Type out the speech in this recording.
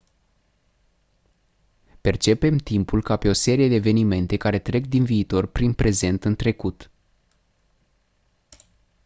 percepem timpul ca pe o serie de evenimente care trec din viitor prin prezent în trecut